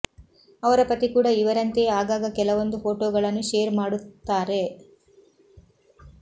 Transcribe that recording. ಅವರ ಪತಿ ಕೂಡ ಇವರಂತೆಯೇ ಆಗಾಗ ಕೆಲವೊಂದು ಫೋಟೋಗಳನ್ನು ಶೇರ್ ಮಾಡುತ್ತಾರೆ